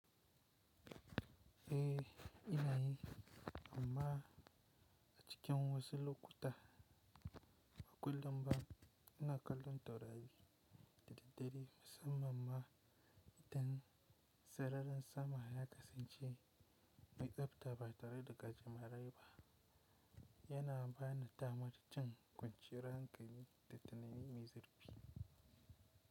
Eh ina yi, amma a cikin wasu lokuta, ƙullum ba ina kallon taurari da daddare musamman ma idan sararin sama ya kasance mai tsabta ba tare da gajimarai ba, yana ba ni damar jin kwanciyar hankali da tunanin mai zurfi.